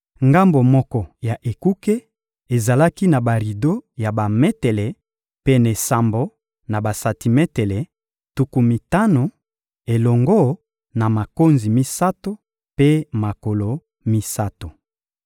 Ngambo moko ya ekuke ezalaki na barido ya bametele pene sambo na basantimetele tuku mitano, elongo na makonzi misato mpe makolo misato.